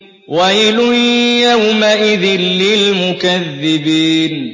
وَيْلٌ يَوْمَئِذٍ لِّلْمُكَذِّبِينَ